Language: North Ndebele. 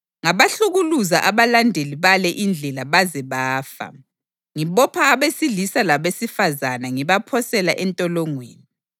Ngabahlukuluza abalandeli bale iNdlela baze bafa, ngibopha abesilisa labesifazane ngibaphosela entolongweni,